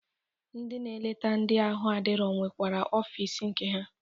Ndị na-eleta ndị ahụ adirọ nwekwere ọfịs nke ha.